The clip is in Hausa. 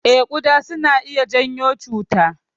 Eh, kuɗa suna iya janyo cuta.